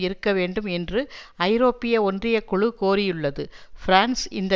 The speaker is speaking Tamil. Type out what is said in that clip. இருக்க வேண்டும் என்று ஐரோப்பிய ஒன்றிய குழு கோரியுள்ளது பிரான்ஸ் இந்த